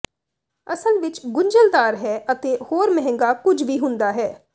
ਅਸਲ ਵਿਚ ਗੁੰਝਲਦਾਰ ਹੈ ਅਤੇ ਹੋਰ ਮਹਿੰਗਾ ਕੁਝ ਵੀ ਹੁੰਦਾ ਹੈ